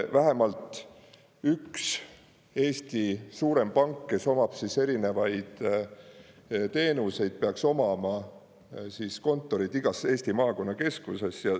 Vähemalt üks Eesti suurem pank, kes omab erinevaid teenuseid, peaks omama kontorit igas Eesti maakonnakeskuses.